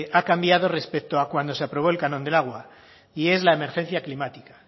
ha cambiado respecto a cuando se aprobó el canon del agua y es la emergencia climática